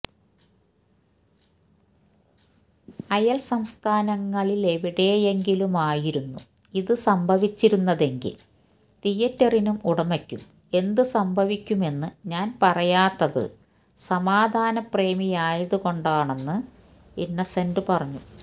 അയൽ സംസ്ഥാനങ്ങളിലെവിടെയെങ്കിലുമായിരുന്നു ഇതു സംഭവിച്ചിരുന്നതെങ്കിൽ തിയറ്ററിനും ഉടമയ്ക്കും എന്തു സംഭവിക്കുമെന്നു ഞാൻ പറയാത്തതു സമാധാന പ്രേമിയായതുകൊണ്ടാണെന്ന് ഇന്നസെന്റ് പറഞ്ഞു